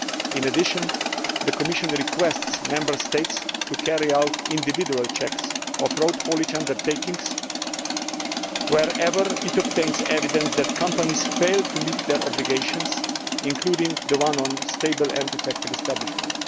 In addition, the Commission requests Member States to carry out individual checks on road haulage undertakings whenever it obtains evidence those companies are failing to meet their obligations, including the one on stable and effective establishment.